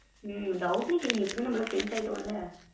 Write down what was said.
ஹம் doubt ன்னா கேளுங்க இப்போ தான் நம்ம எல்லாம் friends ஆகிட்டோம்ல.